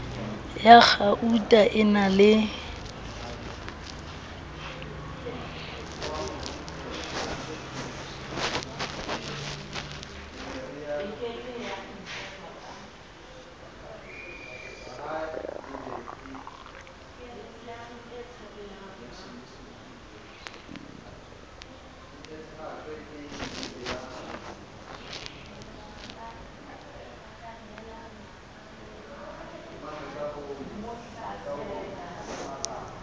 ya kgauta e na le